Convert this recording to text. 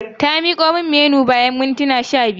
Ta miko min Menu bayan mintuna sha biyar.